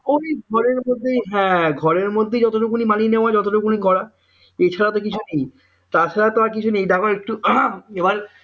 ওই ঘরের মধ্যেই ঘরের মধ্যেই যতটুকু মানিয়ে নেওয়া যায় যত টুকুনেই করাএছাড়া তাছাড়া তো আর কিছু নেই দেখো